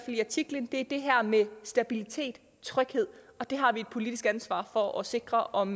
i artiklen er det her med stabilitet og tryghed og det har vi et politisk ansvar for at sikre om